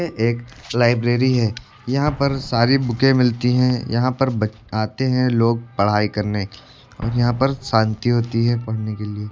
यह एक लाइब्रेरी है यहां पर सारी बुके मिलती हैं यहां पर आते हैं लोग पढ़ाई करने और यहां पर शांति होती है पढ़ने के लिए।